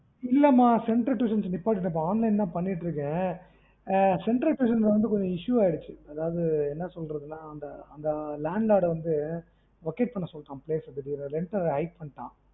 இல்லம்மா center tuition நிப்பாட்டிட்டேன் இப்ப online தா பண்ணிட்டுஇருக்கன். ஆஹ் center tuition வந்து கொஞ்சம் issue ஆயிருச்சு. அதாவது என்ன சொல்றதுன்னா அந்த அந்த landlord வந்து vacate பண்ண சொல்லீட்டான் place திடீர்னு rent வேற high பண்ணீட்டடான்.